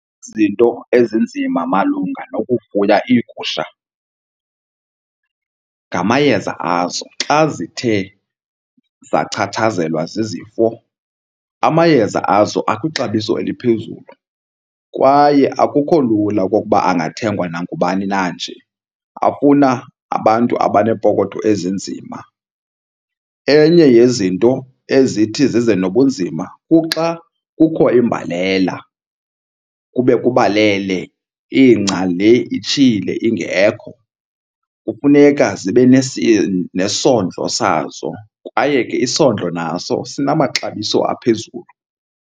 Izinto ezinzima malunga nokufuya iigusha ngamayeza azo xa zithe zachatshazelwa zizifo. Amayeza azo akwixabiso eliphezulu kwaye akukho lula okokuba angathengwa nangubani na nje, afuna abantu abaneepokotho ezinzima. Enye yezinto ezithi zize nobunzima kuxa kukho imbalela, kube kubalele ingca le itshile ingekho. Kufuneka zibe nesondlo sazo kwaye ke isondlo naso sinamaxabiso aphezulu.